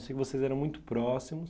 Eu sei que vocês eram muito próximos.